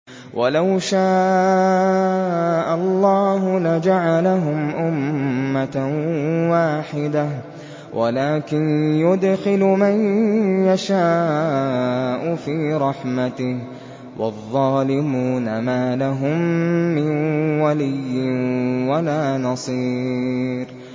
وَلَوْ شَاءَ اللَّهُ لَجَعَلَهُمْ أُمَّةً وَاحِدَةً وَلَٰكِن يُدْخِلُ مَن يَشَاءُ فِي رَحْمَتِهِ ۚ وَالظَّالِمُونَ مَا لَهُم مِّن وَلِيٍّ وَلَا نَصِيرٍ